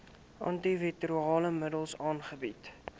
antiretrovirale middels aangebied